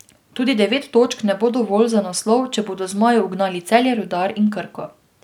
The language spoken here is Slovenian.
Tudi devet točk ne bo dovolj za naslov, če bodo zmaji ugnali Celje, Rudar in Krko.